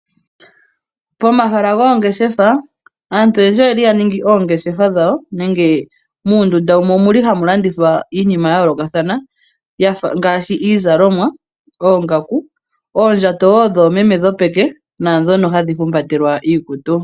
Pomahala goongeshefa, aantu oyendji oye li ya ningi oongeshefa dhawo, nenge muundunda wumwe omu li hamu landithwa iinima ya yoolokathana yafa ngaashi iizalomwa, oongaku, oondjato wo dhoomeme dhopeke naandhono wo hadhi humbatelwa iikutu.